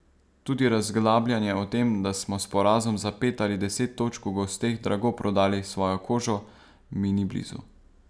Tudi razglabljanje o tem, da smo s porazom za pet ali deset točk v gosteh drago prodali svojo kožo, mi ni blizu.